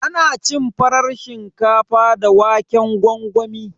Ana cin farar shinkafa da waƙen gwangwami.